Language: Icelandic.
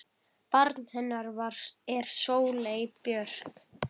Barn hennar er Sóley Björk.